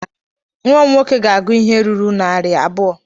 Nwa m nwoke ga-agụ ihe ruru narị abụọ.